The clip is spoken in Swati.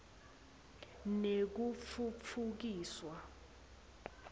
nekutfutfukiswa